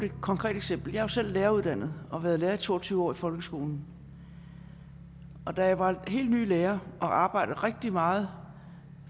et konkret eksempel jeg er jo selv læreruddannet og har været lærer i to og tyve år i folkeskolen da jeg var helt ny som lærer og arbejdede rigtig meget